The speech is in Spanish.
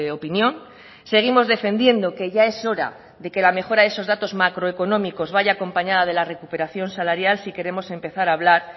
opinión seguimos defendiendo que ya es hora de que la mejora de esos datos macroeconómicos vaya acompañada de la recuperación salarial si queremos empezar hablar